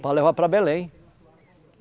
Para levar para Belém.